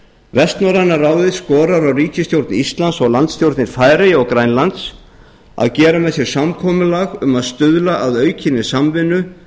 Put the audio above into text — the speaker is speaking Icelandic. vestnorræna ráðið skorar á ríkisstjórn íslands og landsstjórnir færeyja og grænlands að gera með sér samkomulag um að stuðla að aukinni samvinnu